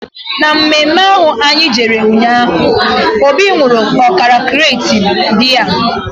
Na mme mme ahụ anyị jere ụnyaahụ, Obi nwụrụ ọkara krate biya